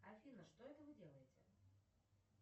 афина что это вы делаете